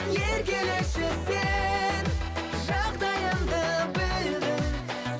еркелеші сен жағдайымды білдің